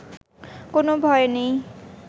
কোনো ভয় নেই